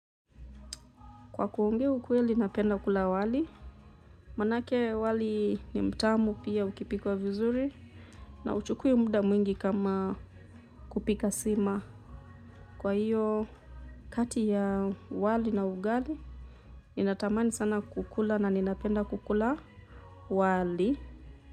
Kwa kuongea ukweli napenda kula wali, maanake wali ni mtamu pia ukipikwa vizuri na hauchukui muda mwingi kama kupika sima. Kwa hiyo kati ya wali na ugali, ninatamani sana kukula na ninapenda kukula wali.